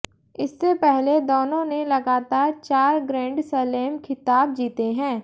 इससे पहले दोनों ने लगातार चार ग्रैंड स्लैम खिताब जीते हैं